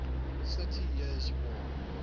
thirty years war